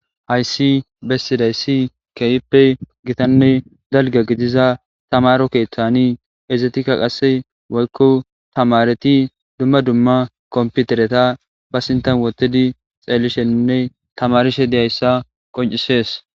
hayssi bessidaysi kehippe gitanne dalga gidiza tamaro keeththani ezetikka qasse woykko tamareti dumma dumma komputereta ba sintan wotidi xeelishinne tamarishe diyayssa qoncisees